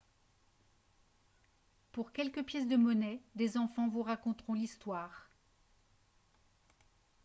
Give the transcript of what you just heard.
pour quelques pièces de monnaie des enfants vous raconteront l'histoire